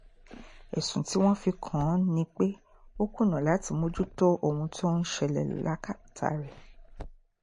ẹ̀sùn tí wọ́n fi kàn án ni pé ó kùnà láti mójútó ohun tó ń ṣẹlẹ̀ lákàtà rẹ̀